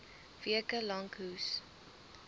weke lank hoes